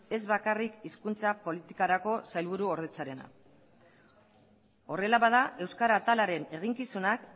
ez bakarrik hizkuntza politikarako sailburuordetzarena horrela bada euskara atalaren eginkizunak